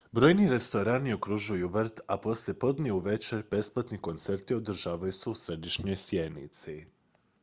brojni restorani okružuju vrt a poslijepodne i uvečer besplatni koncerti održavaju se u središnjoj sjenici